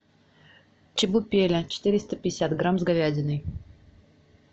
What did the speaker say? чебупели четыреста пятьдесят грамм с говядиной